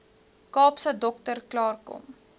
kaapse dokter klaarkom